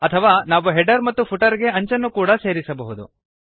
ಅಥವಾ ನಾವು ಹೆಡರ್ ಮತ್ತು ಫುಟರ್ ಗೆ ಅಂಚನ್ನು ಕೂಡಾ ಸೇರಿಸಬಹುದು